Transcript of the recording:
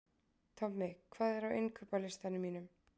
Tommi, hvað er á innkaupalistanum mínum?